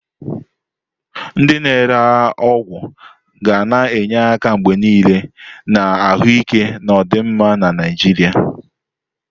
Ndị na-ere ọgwụ ga na-enye aka mgbe niile na ahụike na ọdịmma na Naijiria.